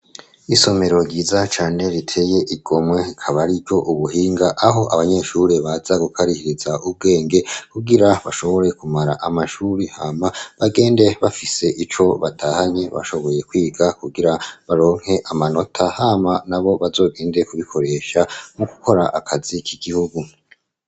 Isomero ryiza cane riteye igomwe, ikaba ari iry'ubuhinga, aho abanyeshuri baza gukarihiriza ubwenge, kugira bashobore kumara amashuri hama bagende, bafise ico batahanye, bashoboye kwiga kugira baronke amanota, hama nabo bazogende kubikoresha no gukora akazi k'igihugu.